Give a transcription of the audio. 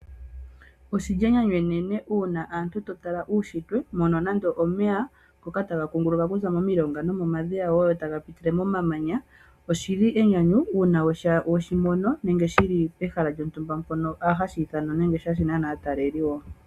Oshili enyanyu enene uuna aantu taya tala uushitwe mono nande omeya ngoka taga kunguluka okuza momilonga nenge momadhiya taga pitile moma manya oshili enyanyu uuna weshimono nenge shili pehala lyontumba hashi ithana nenge hashi nana aataleli.